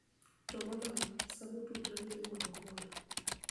To moloyo, sama otudore gi riwruok moro.